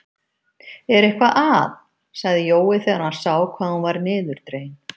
Er eitthvað að? sagði Jói þegar hann sá hvað hún var niðurdregin.